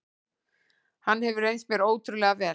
Hann hefur reynst mér ótrúlega vel.